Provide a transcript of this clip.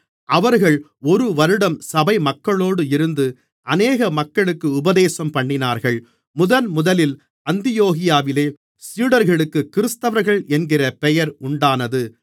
அவர்கள் ஒரு வருடம் சபைமக்களோடு இருந்து அநேக மக்களுக்கு உபதேசம்பண்ணினார்கள் முதன்முதலில் அந்தியோகியாவிலே சீடர்களுக்குக் கிறிஸ்தவர்கள் என்கிற பெயர் உண்டானது